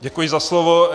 Děkuji za slovo.